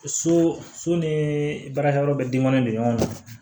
So so ni baarakɛyɔrɔ bɛ den kɔnɔ don ɲɔgɔn na